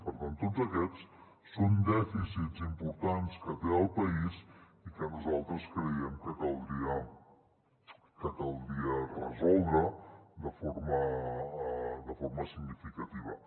per tant tots aquests són dèficits importants que té el país i que nosaltres creiem que caldria resoldre de forma significativa